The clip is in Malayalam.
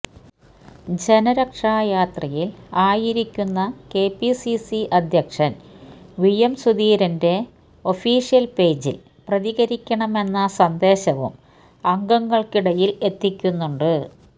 ജനരക്ഷയാത്രയിൽ ആയിരിക്കുന്ന കെപിസിസി അധ്യക്ഷൻ വി എം സുധീരന്റെ ഒഫീഷ്യൽ പേജിൽ പ്രതകരിക്കണമെന്ന സന്ദേശവും അംഗങ്ങൾക്കിടയിൽ എത്തിക്കുന്നുണ്ട്